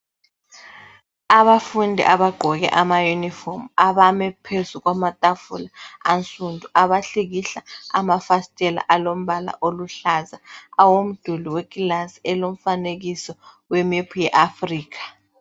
Abafundi abagqoke amayunifomu, abame phezu kwamatafula ansundu, abahlikihla amafasitela alombala oluhlaza awomduli wekilasi elomfanekiso wemephu ye Africa.